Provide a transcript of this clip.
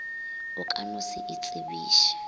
o ka no se itsebiše